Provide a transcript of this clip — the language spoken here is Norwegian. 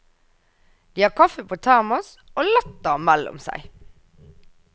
De har kaffe på termos og latter mellom seg.